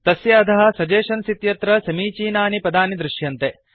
तस्य अधः सगेस्शन्स इत्यत्र समीचीनानि पदानि दृश्यन्ते